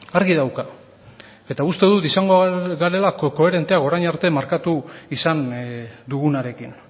argi dauka eta uste dut izango garela koherenteak orain arte markatu izan dugunarekin